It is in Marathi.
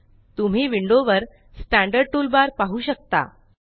तुम्ही विंडो वरStandard टूलबार पाहू शकता